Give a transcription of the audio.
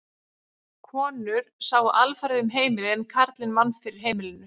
Konur sáu alfarið um heimilið en karlinn vann fyrir heimilinu.